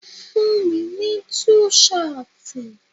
Fún mi ní tú ṣọtì.